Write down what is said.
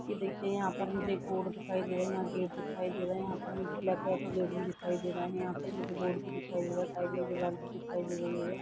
ये देखिये यहाँ पर मुझे एक बोर्ड दिखाई दे रहा है यहाँ गेट दिखाई दे रहा है यहाँ पर ब्लैक कलर का गेट भी दिखाई दे रहा है। यहाँ पर मुझे बोर्ड भी दिखाई दे रहा है साइड में दीवार भी दिखाई दे रही है।